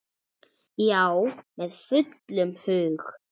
Já, með fullum hug.